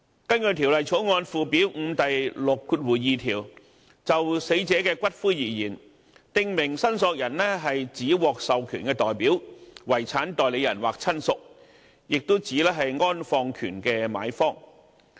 根據《條例草案》附表5第62條，"訂明申索人就死者的骨灰而言，指獲授權代表、遺產代理人或親屬，亦指安放權的買方"。